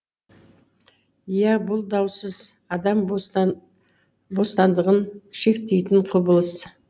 иә бұл даусыз адам бостандығын шектейтін құбылыс